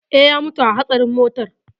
Eh, ya mutu a hatsarin motar.